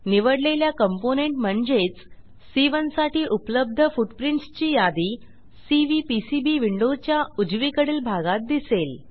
निवडलेल्या कॉम्पोनेंट म्हणजेच सी1 साठी उपलब्ध फुटप्रिंट्स ची यादी सीव्हीपीसीबी विंडोच्या उजवीकडील भागात दिसेल